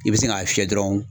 I bɛ sin k'a fiyɛ dɔrɔn